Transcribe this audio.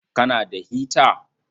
Kana da hita?